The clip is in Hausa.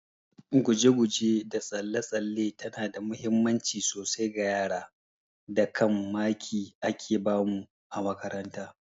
Guje guje da tsalle tsalle tana da muhimmanci sosai ga yara, da kam maki ake bamu a makaranta